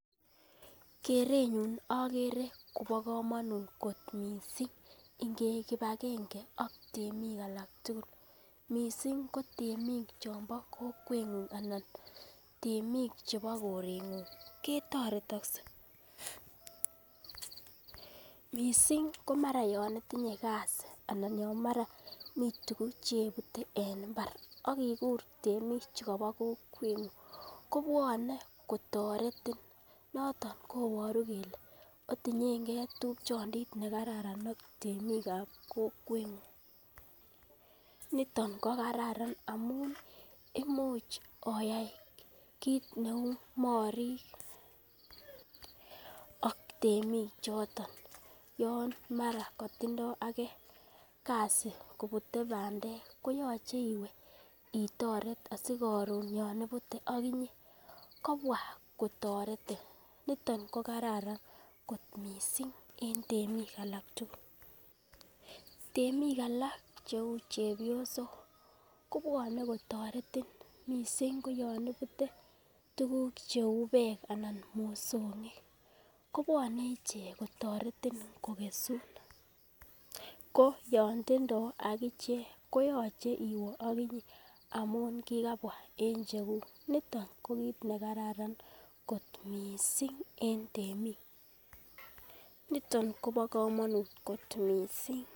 Kerenyun akere kobo komonut miissing ingeik kipakenge ak temik alak tugul, missing ko temik chombo kokwengung anan temik chebo koreng'ung ketoretokse, missing komara yon itinye kazii anan ya mara mi tugun chebute en mbar akikur temichu kobo kokweng'ung kobwone kotoretin noton koboru kele otinyengee tupchondit nekararan ak temikab kokweng'ung niton kokararan amun imuch oyai kit neu morik ak temichoton yon mara kotindoo ake kazii kobute bandek koyoche iwee itoret asikoron, yon ibute agibyee kobwa kotoretin niton kokararan kot missing en temik alak tugul, temik alak cheu chepyosok kobwonee kotoretin ,missing koyon ibute tuguk cheu bek anan mosong'ik kobwonee ichek kotoretin kokesun ko yon tindoo akichek koyoche iwee akinyee amun kikabwa en cheguk niton kokit nekararan kot missing en temik niton kobo komonut kot missing.